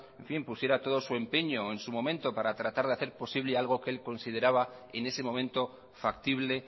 pusiera todo su empeño en su momento para tratar de hacer posible algo que él consideraba en ese momento factible